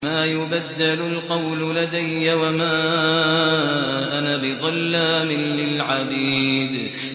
مَا يُبَدَّلُ الْقَوْلُ لَدَيَّ وَمَا أَنَا بِظَلَّامٍ لِّلْعَبِيدِ